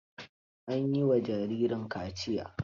An yi wa jaririn kaciya?